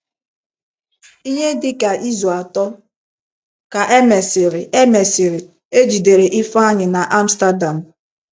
Ihe dị ka izu atọ ka e mesịrị, e mesịrị, e jidere Ifeanyị n’Amsterdam.